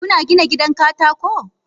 Kuna gina gidan katako?